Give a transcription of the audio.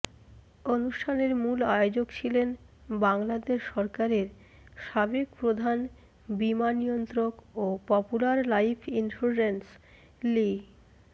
অনুষ্ঠানের মূল আয়োজক ছিলেন বাংলাদেশ সরকারের সাবেক প্রধান বীমা নিয়ন্ত্রক ও পপুলার লাইফ ইন্সুরেন্স লি